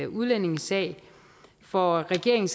udlændingesag for regeringen